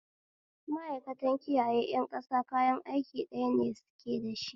Ma'aikantan kiyaye ƴan ƙasa kayan aiki ɗaya ne suke dashi